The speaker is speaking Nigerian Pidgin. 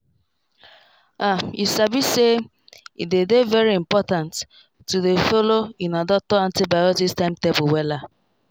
ahyou sabi say e dey dey very important to dey follow una doctor antibiotics timetable wella.